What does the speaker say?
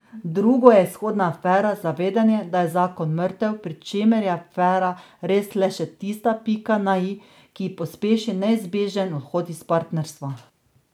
Drugo je izhodna afera, zavedanje, da je zakon mrtev, pri čemer je afera res le še tista pika na i, ki pospeši neizbežni odhod iz partnerstva.